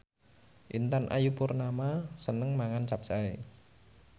Intan Ayu Purnama seneng mangan capcay